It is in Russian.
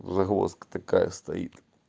загвоздка такая стоит